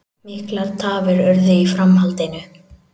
Miklar tafir urðu í framhaldinu